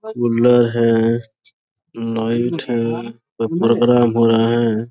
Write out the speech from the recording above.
Cooler है light है कोई प्रोग्राम हो रहा है।